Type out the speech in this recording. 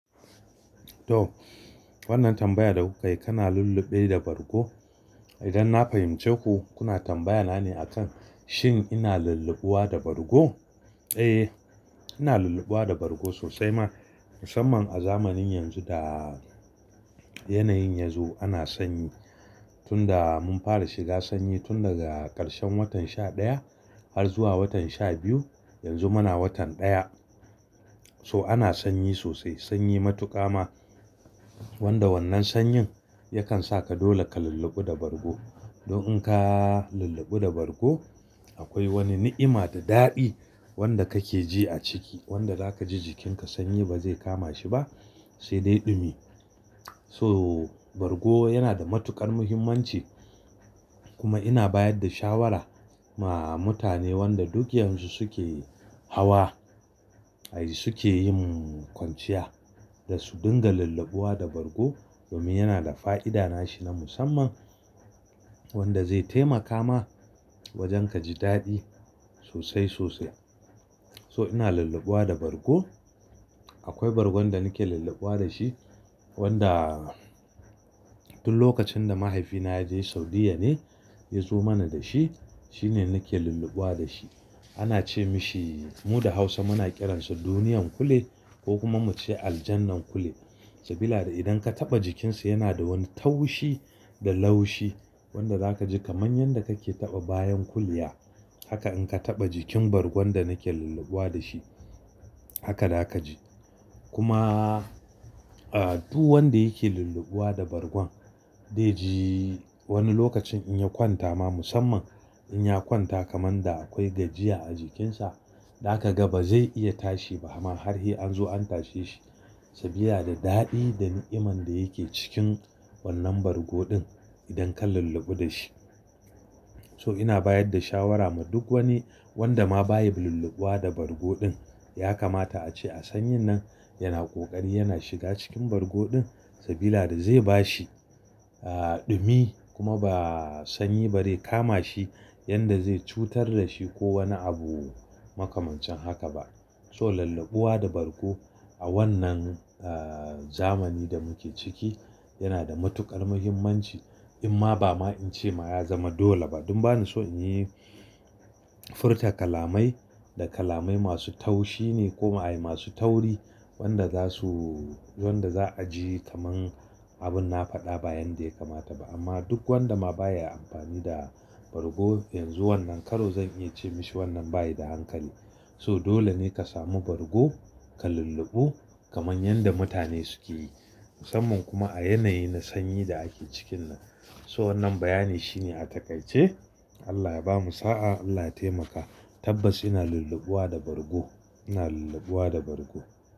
To, wannan tambaya da kuka yi, kana lulluɓe da bargo? Idan na fahimce ku, kuna tambaya na ne akan shin ina lulluɓuwa da bargo? Eh, ina lulluɓuwa da bargo sosai ma. Musamman a zamanin yanzu da yanayin yazo ana sanyi. Tun da mun fara shiga sanyi tun daga ƙarshen watan sha ɗaya har zuwa watan sha biyu. Yanzu muna watan ɗaya. So ana sanyi sosai, sanyi matuƙa ma. Wanda wannan sanyin yakan sa ka dole ka lulluɓu da bargo. Don in ka lulluɓu da bargo akwai wani ni'ima da daɗi wanda kake ji a ciki. Wanda zaka ji jikinka sanyi ba zai kama shi ba sai dai ɗumi. So bargo yana da matuƙar muhimmanci kuma ina bayar da shawara ma mutane wanda duk yanzu suke hawa, ayy suke yin kwanciya da su dinga lulluɓuwa da bargo. Domin yana da fa'ida nashi na musamman wanda zai taimaka ma wajen ka ji daɗi sosai sosai. So ina lulluɓuwa da bargo. Akwai bargon da nake lulluɓuwa da shi wanda tun lokacin da mahaifina ya je Saudiyya ne ya zo mana da shi. Shine nake lulluɓuwa da shi. Ana ce mishi mu da Hausa muna kiransa duniyan kule ko kuma mu ce aljannan kule. Sabila da idan ka taɓa jikinsa yana da wani taushi da laushi wanda zaka ji kamar yadda kake taɓa bayan kuliya. Haka in ka taɓa jikin bargon da nake lulluɓuwa da shi, haka za ka ji. Kuma, ah, duk wanda yake lulluɓuwa da bargon dai ji wani lokacin in ya kwanta ma musamman in ya kwanta kamar da akwai gajiya a jikinsa, da ka ga ba zai iya tashi ba har sai an zo an tashe shi. Saboda daɗi da ni'iman da yake cikin wannan bargo ɗin idan ka lulluɓu da shi. So ina bayar da shawara ma duk wani wanda ma baya ulluɓuwa da bargo ɗin ya kamata a ce a sanyin nan yana ƙoƙari yana shiga cikin bargo ɗin saboda zai bashi, ah, ɗumi kuma ba sanyi ba zai kama shi yanda zai cutar da shi ko wani abu makamancin haka ba. So lulluɓuwa da bargo a wannan, ah, zamani da muke ciki yana da matuƙar muhimmanci. Amma ba ma in ce ma ya zama dole ba. Dan bani so in yi furta kalamai da kalamai masu taushi ne ko ma ayy masu tauri wanda za su wanda za'a ji kamar abin na faɗa bayan dai ya kamata ba. Amma duk wanda ma baya amfani da bargo yanzu wannan karo zan iya ce mashi wannan bayi da hankali. So dole ne ka sami bargo ka lulluɓu kamar yanda mutane suke yi. Musamman kuma a yanayi na sanyi da ake cikin nan. So wannan bayani shine a takaice Allah ya bamu sa'a, Allah ya taimaka. Tabbas ina lulluɓuwa da bargo. Ina lulluɓuwa da bargo.